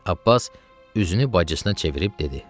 Abbas üzünü bacısına çevirib dedi: